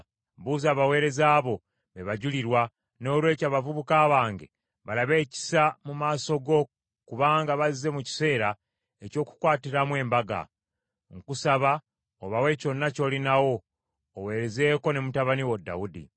Buuza abaweereza bo, be bajulirwa. Noolwekyo abavubuka bange balabe ekisa mu maaso go kubanga bazze mu kiseera eky’okukwatiramu embaga. Nkusaba obawe kyonna ky’olinawo, oweerezeeko ne mutabani wo Dawudi.”